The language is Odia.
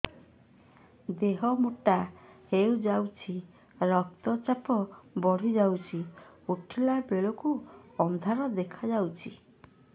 ଦେହ ମୋଟା ହେଇଯାଉଛି ରକ୍ତ ଚାପ ବଢ଼ି ଯାଉଛି ଉଠିଲା ବେଳକୁ ଅନ୍ଧାର ଦେଖା ଯାଉଛି